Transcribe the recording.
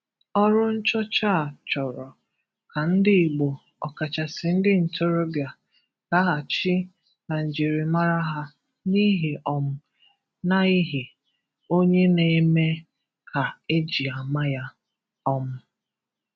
Ọrụ nchọcha a chọrọ ka ndị Igbo, ọkachasị ndị ntorobịa, laghachi na njirimara ha, n’ihi um na ihe onye na-eme ka e ji ama ya. um